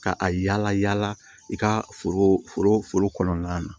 Ka a yala yala i ka foro foro foro kɔnɔna na